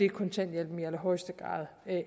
kontanthjælpen i allerhøjeste grad